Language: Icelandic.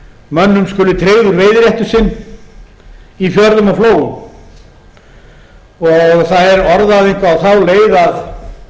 mönnum skuli tryggður veiðiréttur sinn í fjörðum og flóum það er orðað eitthvað á þá leið